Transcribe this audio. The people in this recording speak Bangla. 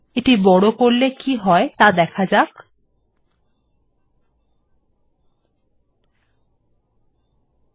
এটিকে বড় করলে কি হয় তা লক্ষ্য করুন